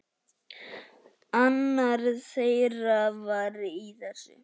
Annar þeirra var í þessu!